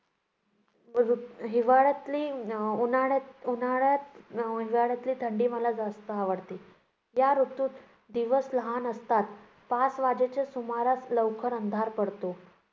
हिवाळ्यातली अं उन्हाळ्यात उन्हाळ्यात अं हिवाळ्यातील थंडी मला जास्त आवडते. या ऋतूत दिवस लहान असतात. पाच वाजेच्या सुमारास लवकर अंधार पडतो.